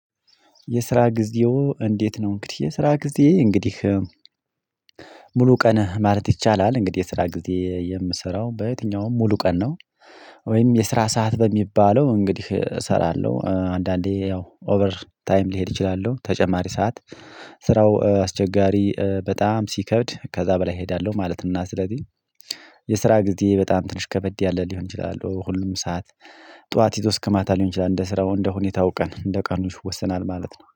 የስራ ጊዜዎ እንዴት ነው? እንግዲህ የስራ ጊዜ እንግዲህ ሙሉ ቀን ማለት ይቻላል እንግዲህ የስራ ጊዜ የምሰራው በየትኛውም ሙሉ ቀን ነው። ወይም የስራ ሰዓት በሚባለው እንግዲህ እሰራለሁ አንዳንዴ ያው ኦቨር ታይም ልሄድ እችላለሁ ተጨማሪ ሰዓት ስራው አስቸጋሪ በጣም ሲከብድ ከዛ በላይ እሄዳለሁ ማለት ነው። እና ስለዚህ የስራ ጊዜ በጣም ትንሽ ከበድ ያለ ሊሆን ይችላል። ሁሉም ሰዓት ጠዋት ሄዶ እስከማታ ሊሆን ይችላል። እንደ ስራው እንደ ሁኔታው ቀን እንደ ቀኑሽ ይወሰናል ማለት ነው